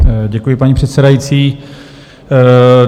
Děkuji, paní předsedající.